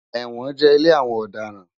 Ewòn jè ilé áwòn òdarán